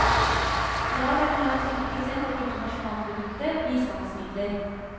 I dag er om lag sytti prosent av bruttonasjonalproduktet bistandsmidler.